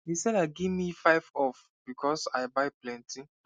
the seller gimme 5 off because i buy plenty